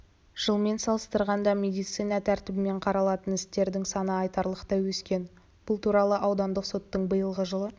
жылмен салыстырғанда медиация тәртібімен қаралатын істердің саны айтарлықтай өскен бұл туралы аудандық соттың биылғы жылы